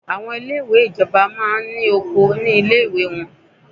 Àwọn ilé ìwé ìjọba máa ní oko ní ilé ìwé wọ́n.